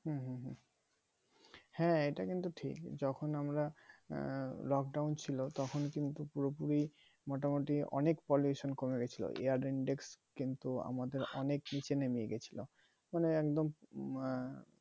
হ্যাঁ এটা কিন্তু ঠিক যখন আমার আঃ lockdown ছিল তখন কিন্তু পুরোপুরি মোটামোটই অনেক কমে গেছিলো air index কিন্তু আমাদের অনেক নিচে নেমে গেছিলো মানে একদম আঃ